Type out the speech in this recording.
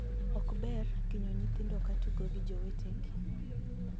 Ok ber kinyo nyithindo ka tugo gi jowetegi.